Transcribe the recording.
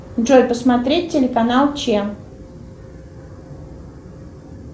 джой посмотреть телеканал че